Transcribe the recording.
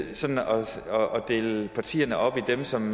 dele partierne op i dem som